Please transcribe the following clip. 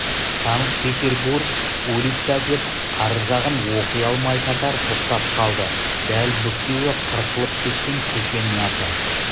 санкт-петербург улица деп ар жағын оқи алмай татар тоқтап қалды дәл бүктеуі қырқылып кеткен көшенің аты